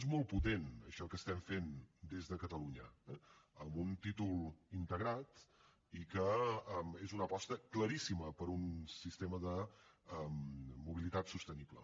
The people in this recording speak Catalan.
és molt potent això que estem fent des de catalunya eh amb un títol integrat i és una aposta claríssima per un sistema de mobilitat sostenible